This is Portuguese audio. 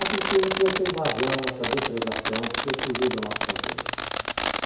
A tristeza foi essa invasão, essa depredação, porque fugiu do nosso controle.